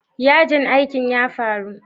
Yajin aikin ya faru?